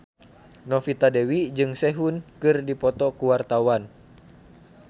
Novita Dewi jeung Sehun keur dipoto ku wartawan